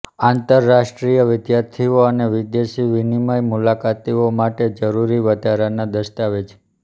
આંતરરાષ્ટ્રીય વિદ્યાર્થીઓ અને વિદેશી વિનિમય મુલાકાતીઓ માટે જરૂરી વધારાના દસ્તાવેજ